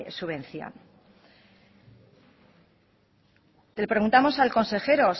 subvención le preguntamos al consejero